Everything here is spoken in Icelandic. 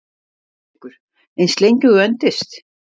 Haukur: Eins lengi og þú endist?